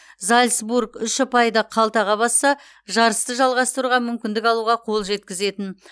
зальцбург үш ұпайды қалтаға басса жарысты жалғастыруға мүмкіндік алуға қол жеткізетін